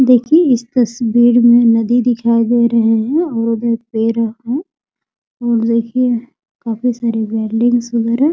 देखिए इस तस्वीर में नदी दिखाई दे रही है और पेड़ हैं और देखिए काफी सारी बिल्डिंग्स वगेरह --